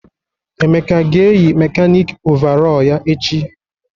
Emeka ga-eyi mekanịkị ọvarọọr ya echi?